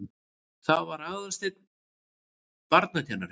Það var Aðalsteinn barnakennari.